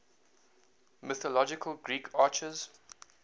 mythological greek archers